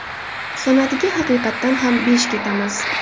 San’atiga haqiqatan ham besh ketamiz.